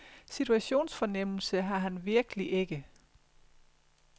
Situationsfornemmelse har han virkelig ikke.